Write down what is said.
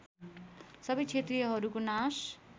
सबै क्षेत्रीयहरूको नाश